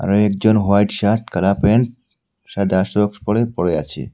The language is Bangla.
কয়েকজন হোয়াইট শার্ট কালা প্যান্ট সাদা সক্স পরে পড়ে আছে।